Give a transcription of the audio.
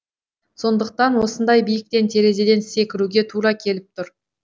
сондықтан осындай биіктен терезеден секіруге тура келіп тұр